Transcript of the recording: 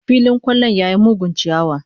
Filin kwallon ya yi mugun chiyawa